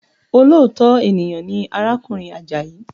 Olóòtọ́ ènìyàn ni arákùnrin Àjàyí